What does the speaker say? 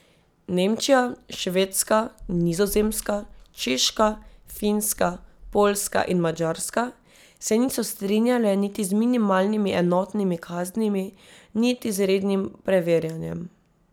Nemčija, Švedska, Nizozemska, Češka, Finska, Poljska in Madžarska se niso strinjale niti z minimalnimi enotnimi kaznimi niti z rednim preverjanjem.